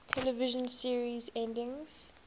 television series endings